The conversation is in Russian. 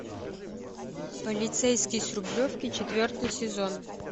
полицейский с рублевки четвертый сезон